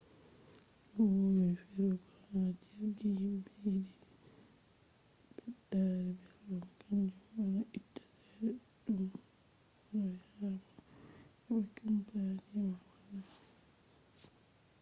no wowi firigo ha jirgi himɓe yiɗi ɓeddari belɗum kanju on a itta cede ɗuɗɗumb r hore ma ko a heɓa kampani ma wanna ma